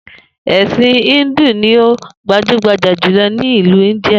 È̩sìn Íńdù ni ó gbajúgbajà jùlo̩ ní ìlú Íńdíà